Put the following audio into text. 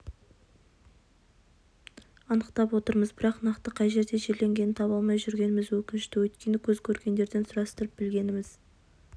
анықтап отырмыз бірақ нақты қай жерде жерленгенін таба алмай жүргеніміз өкінішті өйткені көз көргендерден сұрастырып білгеніміз